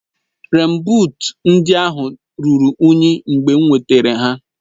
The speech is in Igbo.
Rèèn buut ndị ahụ ruru unyi mgbe m wetara ha